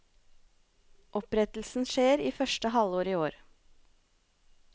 Opprettelsen skjer i første halvår i år.